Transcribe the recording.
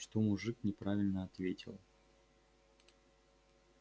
что мужик неправильно ответил